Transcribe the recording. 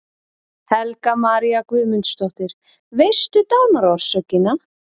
Helga María Guðmundsdóttir: Veistu dánarorsökina?